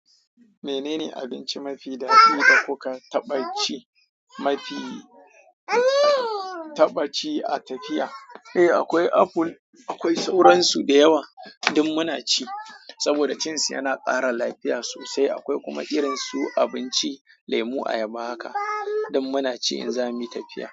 Menene abinci mafi daɗi da kuka taɓa ci mafi- taɓa ci a tafiya? Eh akwai apple, akwai sauransu da yawa duk muna ci, saboda cin su yana ƙara lafiya sosai. Akwai kuma irin su abinci, lemu, ayaba haka duk muna ci in za muyi tafiya.